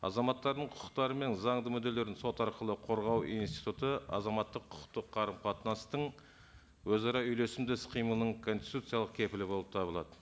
азаматтардың құқықтары мен заңды мүдделерін сот арқылы қорғау институты азаматтық құқықтық қарым қатынастың өзара үйлесімді іс қимылының конституциялық кепілі болып табылады